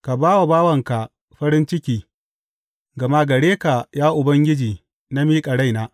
Ka ba bawanka farin ciki gama gare ka, ya Ubangiji, na miƙa raina.